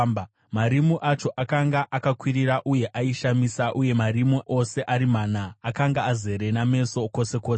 Marimu acho akanga akakwirira uye aishamisa, uye marimu ose ari mana akanga azere nameso kwose kwose.